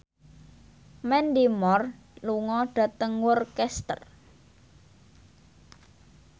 Mandy Moore lunga dhateng Worcester